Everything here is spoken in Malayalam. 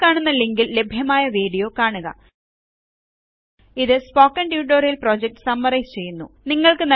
താഴെക്കാണുന്ന ലിങ്കിൽ ലഭ്യമായ വീഡിയോ കാണുക ഇത് സ്പോക്കണ് ട്യൂട്ടോറിയല് പ്രോജക്ട് സമ്മറൈസ് ചെയ്യുന്നു